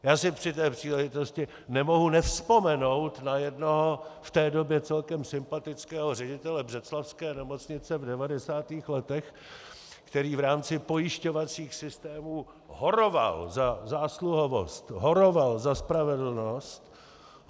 Já si při té příležitosti nemohu nevzpomenout na jednoho v té době celkem sympatického ředitele břeclavské nemocnice v 90. letech, který v rámci pojišťovacích systémů horoval za zásluhovost, horoval za spravedlnost.